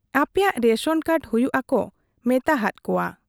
ᱟᱯᱼᱮᱭᱟᱜ ration card ᱦᱩᱭᱩᱜ ᱟ ᱠᱚ ᱢᱮᱛᱟᱦᱟᱫ ᱠᱚᱣᱟ ᱾